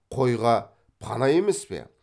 қойға пана емес пе